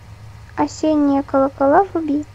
осенние колокола вруби